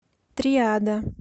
триада